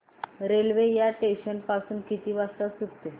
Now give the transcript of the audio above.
railway या station पासून किती वाजता सुटते